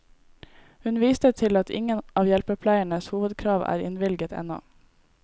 Hun viste til at ingen av hjelpepleiernes hovedkrav er innvilget ennå.